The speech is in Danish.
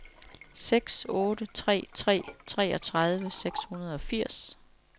seks otte tre tre treogtredive seks hundrede og firs